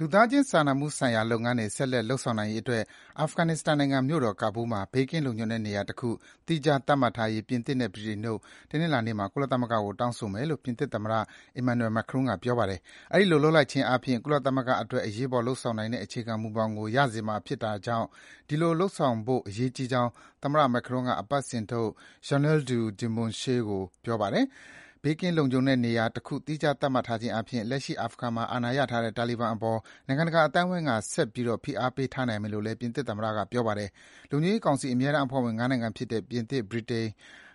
လူသားခြင်းစာနာမှုဆိုင်ရာ လုပ်ငန်းတွေ ဆက်လက် လုပ်ဆောင်နိုင်ရေးအတွက် အာဖဂန်နစ္စတန်နိုင်ငံမြို့တော် ကာဘူးလ်မှာ ဘေးကင်းလုံခြုံတဲ့နေရာတခု သီးခြားသတ်မှတ်ထားရေး ပြင်သစ်နဲ့ ဗြိတိန်တို့က တနင်္လာနေ့မှာ ကုလသမဂ္ဂကို တောင်းဆိုမယ်လို့ ပြင်သစ်သမ္မတ Emmanuel Macron က ပြောပါတယ်။ အဲဒီလို လုပ်လိုက်ခြင်းအားဖြင့် ကုလသမဂ္ဂအတွက် အရေးပေါ်လုပ်ဆောင်နိုင်တဲ့ အခြေခံမူဘောင်ကို ရစေမှာဖြစ်တာကြောင့် အဲဒီလို လုပ်ဆောင်ဖို့ အရေးကြီးကြောင်း သမ္မတ Macron က အပတ်စဉ်ထုတ် Journal du Dimanche ကို ပြောပါတယ်။ ဘေးကင်းလုံခြုံတဲ့နေရာတခု သီးခြားသတ်မှတ်ထားခြင်းအားဖြင့် လက်ရှိ အာဖဂန်မှာ အာဏာရထားတဲ့ တာလီဘန်တွေအပေါ် နိုင်ငံတကာ အသိုင်းဝိုင်းက ဆက်ပြီး ဖိအားပေးထားနိုင်မယ်လို့လည်း ပြင်သစ်သမ္မတက ပြောပါတယ်။ လုံခြုံရေးကောင်စီ အမြဲတမ်းအဖွဲ့ဝင် ၅ နိုင်ငံဖြစ်တဲ့ ပြင်သစ်၊ ဗြိတိန်၊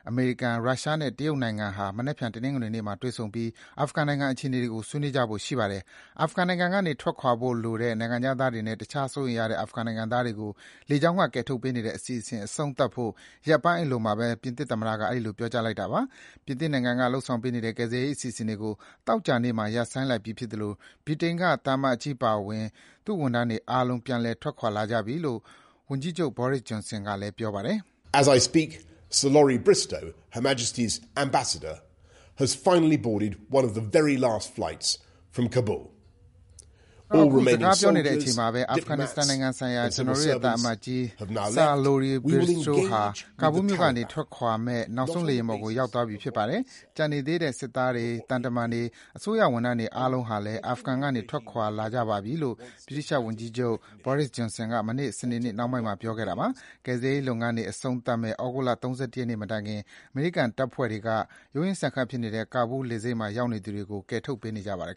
အမေရိကန်၊ ရုရှားနဲ့ တရုတ်နိုင်ငံဟာ မနက်ဖြန် တနင်္လာနေ့မှာ တွေ့ဆုံပြီး အာဖဂန်နိုင်ငံအခြေအနေတွေကို ဆွေးနွေးကြဖို့ရှိပါတယ်။ အာဖဂန်နိုင်ငံကနေ ထွက်ခွာလိုတဲ့ နိုင်ငံခြားသားတွေနဲ့ တခြား စိုးရိမ်ရတဲ့ အာဖဂန်နိုင်ငံသားတွေကို လေကြောင်းက ကယ်ထုတ်ပေးနေတဲ့ အစီအစဉ် အဆုံးသတ်ဖို့ ရက်ပိုင်းအလိုမှာဘဲ ပြင်သစ်သမ္မတက အဲဒီလို ပြောကြားလိုက်တာပါ။ ပြင်သစ်နိုင်ငံက လုပ်ဆောင်ပေးနေတဲ့ ကယ်ဆယ်ရေးအစီအစဉ်တွေကို သောကြာနေ့က ရပ်ဆိုင်းလိုက်ပြီဖြစ်သလို ဗြိတိန်က သံအမတ်ကြီးအပါအဝင် သူ့ဝန်ထမ်းတွေအားလုံး ပြန်ထွက်ခွာလာကြပြီလို့ ဝန်ကြီးချုပ် Boris Johnson က ပြောပါတယ်။ “ကျနော် အခုစကားပြောနေတဲ့အချိန်မှာဘဲ အာဖဂန်နစ္စတန်နိုင်ငံဆိုင်ရာ ကျနော်တို့ရဲ့သံအမတ်ကြီး Sir Lorie Bristow ဟာ ကာဘူးလ်မြို့ကထွက်ခွာမယ့် နောက်ဆုံးလေယာဉ်ပေါ်ကို ရောက်သွားပြီ ဖြစ်ပါတယ်။ ကျန်နေသေးတဲ့ စစ်သားတွေ၊ သံတမန်တွေ၊ အစိုးရဝန်ထမ်းတွေအားလုံးဟာလည်း အာဖဂန်ကနေ အကုန်ထွက်ခွာလာကြပါပြီ” - လို့ ဗြိတိသျှဝန်ကြီးချုပ် Boris Johnson က မနေ့ စနေနေ့နှောင်းပိုင်းမှာ ပြောခဲ့တာပါ။ ကယ်ဆယ်ရေးလုပ်ငန်းတွေ အဆုံးသတ်မယ့် သြဂုတ်လ ၃၁ ရက်နေ့မတိုင် အမေရိကန်တပ်ဖွဲ့တွေက ရုံးရင်းဆန်ခတ်ဖြစ်နေတဲ့ ကာဘူးလ် လေဆိပ်မှာရောက်နေသူတွေကို ကယ်ထုတ်ပေးနေပါတယ်